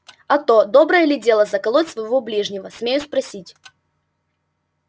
а то доброе ли дело заколоть своего ближнего смею спросить